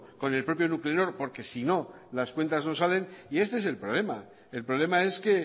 con el propio nuclenor porque si no las cuentas no salen y este es el problema el problema es que